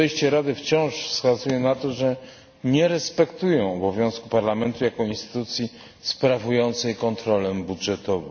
Podejście Rady wciąż wskazuje na to, że nie respektuje obowiązków Parlamentu jako instytucji sprawującej kontrolę budżetową.